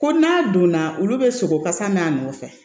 Ko n'a donna olu bɛ sogo kasa n'a nɔfɛ